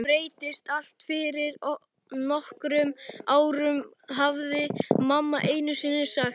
Þetta breyttist allt fyrir nokkrum árum, hafði mamma einusinni sagt.